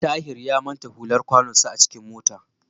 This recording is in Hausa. Tahir ya manta hular kwanonsa a cikin mota.